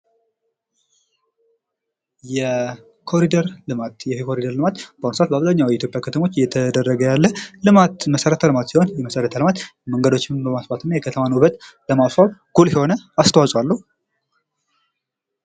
የኮሪደር ልማት ይህ የኮሪደር ልማት በአሁን ስዓት በአብዛኛው የኢትዮጵያ ከተሞች እየተደረገ ያለ መሰረት ልማት ሲሆን ይህ መሰረተ ልማት መንገዶች በማስፋት የከተማን ውበት ለማስዋብ ጉልህ የሆነ አስተዋጽኦ አለው።